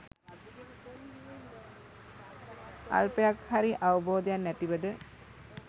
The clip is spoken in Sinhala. අල්පයක් හරි අවබෝධයක් නැතුවද